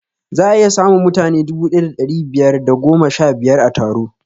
Za'a iya samun mutane dubu ɗaya da ɗari biyar da goma sha biyar a taro